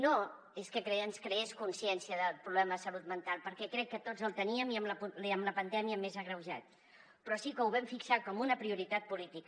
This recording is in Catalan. no és que ens creés consciència del problema de salut mental perquè crec que tots la teníem i amb la pandèmia més agreujada però sí que ho vam fixar com una prioritat política